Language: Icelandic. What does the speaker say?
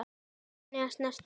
Reyni að snerta hann.